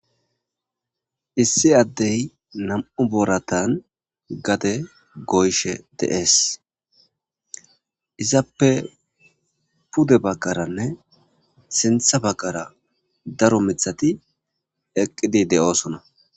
Issi adeyi namu'u booratani gadde goyishe de'esi. Izappe pude baggarane sinitha baggara daro mithati eqidi de'osona.